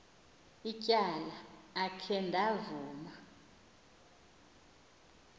ityala akhe ndavuma